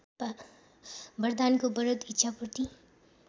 वरदानको वरद इच्छापूर्ति